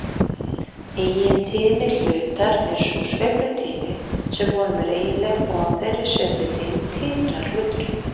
Eigintíðni hlutar er sú sveiflutíðni sem honum er eiginleg og á þeirri sveiflutíðni titrar hluturinn.